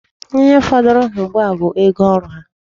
Ihe fọdụrụ ha ugbua a bụ ego oru ha.